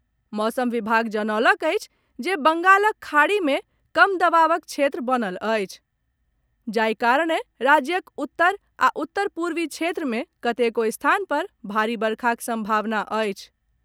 मौसम विभाग जनौलक अछि जे बंगालक खाड़ी मे कम दबावक क्षेत्र बनल अछि, जाहि कारणे राज्यक उत्तर आ उत्तर पूर्वी क्षेत्र मे कतेको स्थान पर भारी वर्षाक सम्भावना अछि।